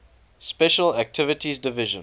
special activities division